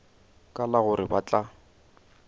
ka la gore ba tla